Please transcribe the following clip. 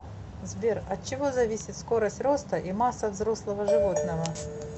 сбер от чего зависит скорость роста и масса взрослого животного